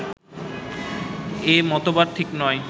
এ মতবাদ ঠিক নয়